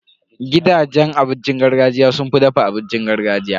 Gidajen abincin gargajiya sun fi dafa abincin gargajiya.